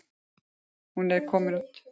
Hún er ekki komin út.